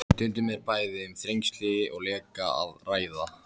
Stundum er bæði um þrengsli og leka að ræða.